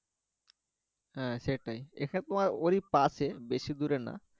হ্যা সেটাই এটা তোমার ওরই পাশে বেশি দূরে না